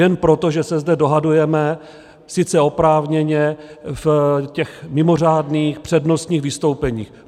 Jen proto, že se zde dohadujeme, sice oprávněně, v těch mimořádných, přednostních vystoupeních.